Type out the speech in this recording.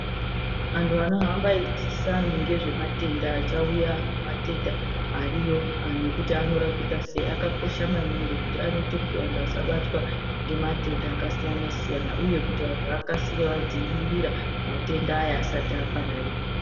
Anhu anohamba eidzidzisa anhu ngezvematenda achauya matenda ariyo nekuti anorapika sei akakosha maningi ngokuti anoite kuti anhu asabatwa ngematenda akasiyana-siyana. Uye kuti vanhu akasire adzivirira matenda aya asati apararira.